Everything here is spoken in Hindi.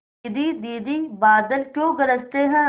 दीदी दीदी बादल क्यों गरजते हैं